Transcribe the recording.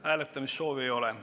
Hääletamissoovi ei ole.